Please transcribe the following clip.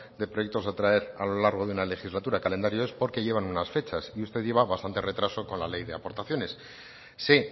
de proyectos a traer a lo largo de una legislatura calendario es porque llevan unas fechas y usted lleva bastante retraso con la ley de aportaciones sé